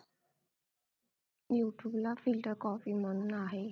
youtube ला filter coffee म्हणून आहे